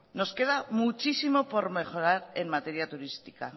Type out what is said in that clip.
nos queda muchísimo por mejorar en materia turística